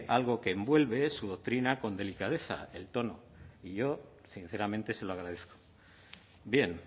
algo que envuelve su doctrina con delicadeza el tono yo sinceramente se lo agradezco bien